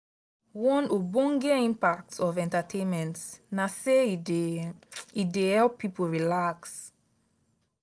one ogbenge impact of entertainment na say e dey e dey help people relax.